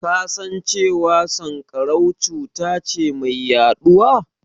Ka san cewa sanƙarau cuta ce mai yaɗuwa?